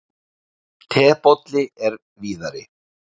Tebolli er víðari.